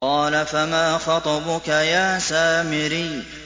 قَالَ فَمَا خَطْبُكَ يَا سَامِرِيُّ